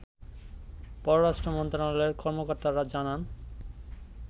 পররাষ্ট্র মন্ত্রণালয়ের কর্মকর্তারা জানান